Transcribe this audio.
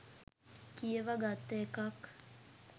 කියව ගත්ත එකක්